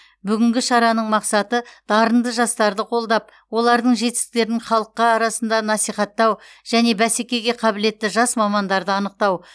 бүгінгі шараның мақсаты дарынды жастарды қолдап олардың жетістіктерін халыққа арасында насихаттау және бәскеге қабілетті жас мамандарды анықтау